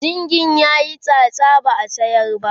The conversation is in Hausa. zingin tayi tsatsa ba'a sayar ba